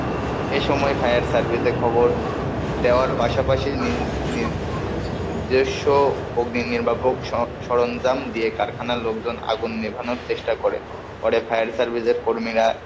এই সময় fire service এ খবর দেওয়ার পাশাপাশি নিজস্ব অগ্নিনির্বাপক সরঞ্জাম দিয়ে কারখানার লোকজন আগুন নেভানোর চেষ্টা করে পরে fire service এর কর্মীরা,